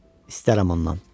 İstərəm ondan.